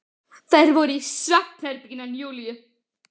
Þær voru inni í svefnherbergi Júlíu.